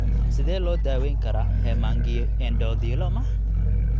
Sidee loo daweyn karaa hemangioendothelioma?